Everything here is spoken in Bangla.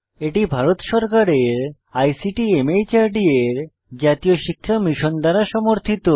এটি ভারত সরকারের আইসিটি মাহর্দ এর জাতীয় শিক্ষা মিশন দ্বারা সমর্থিত